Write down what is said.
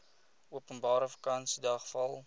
openbare vakansiedag val